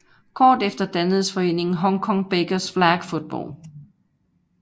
Kort efter dannedes foreningen Hong Kong Bakers Flag Football